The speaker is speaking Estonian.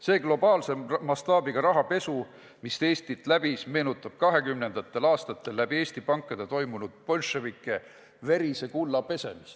See globaalse mastaabiga rahapesu, mis Eestit läbis, meenutab 1920. aastatel läbi Eesti pankade toimunud bolševike verise kulla pesemist.